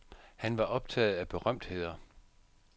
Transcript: Han var optaget af berømtheder.